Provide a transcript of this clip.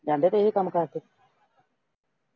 ਜਾਂਦੇ ਪਏ ਸੀ ਕੰਮ ਕਾਰ ਤੇ